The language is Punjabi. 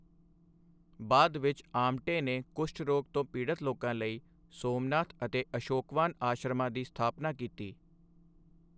ਬਾਅਦ ਵਿੱਚ ਆਮਟੇ ਨੇ ਕੁਸ਼ਟ ਰੋਗ ਤੋਂ ਪੀੜਤ ਲੋਕਾਂ ਲਈ ਸੋਮਨਾਥ ਅਤੇ ਅਸ਼ੋਕਵਾਨ ਆਸ਼ਰਮਾਂ ਦੀ ਸਥਾਪਨਾ ਕੀਤੀ।